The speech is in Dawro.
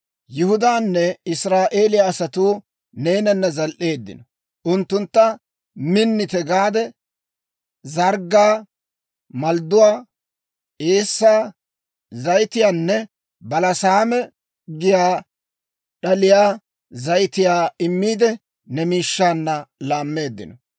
Yihudaanne Israa'eeliyaa asatuu neenana zal"eeddino; unttunttu Minitte gade zarggaa, maldduwaa, eessaa, zayitiyaanne balasaame giyaa d'aliyaa zayitiyaa immiide, ne miishshaanna laammeeddino.